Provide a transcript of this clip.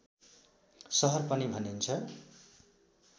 सहर पनि भनिन्छ